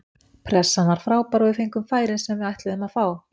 Pressan var frábær og við fengum færin sem við ætluðum að fá.